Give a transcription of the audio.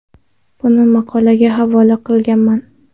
Buni maqolaga havola qilganman.